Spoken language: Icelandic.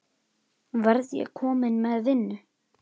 Verð ég kominn með vinnu?